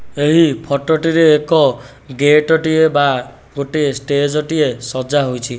ଏହି ଫଟଟିରେ ଏକ ଗେଟ ଟିଏ ବା ଗୋଟେ ଷ୍ଟେଜ ଟିଏ ସଜ୍ଜା ହେଇଚି।